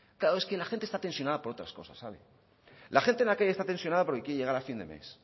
claro es que la gente está tensionada por otras cosas la gente en la calle está tensionada porque quiere llegar a final de mes